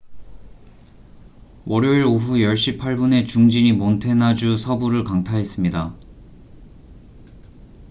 월요일 오후 10시 8분에 중진이 몬태나주 서부를 강타했습니다